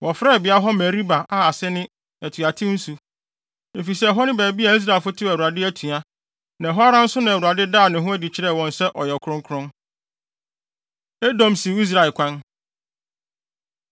Wɔfrɛɛ beae hɔ Meriba a ase ne: Atuatew Nsu, efisɛ ɛhɔ ne baabi a Israelfo tew Awurade atua, na ɛhɔ ara nso na Awurade daa ne ho adi kyerɛɛ wɔn sɛ ɔyɛ ɔkronkron. Edom Siw Israel Kwan